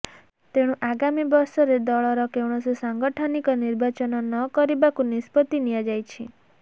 ତେଣୁ ଆଗାମି ବର୍ଷରେ ଦଳର କୌଣସି ସାଂଗଠନିକ ନିର୍ବାଚନ ନକରିବାକୁ ନିଷ୍ପତି ନିଆଯାଇଛି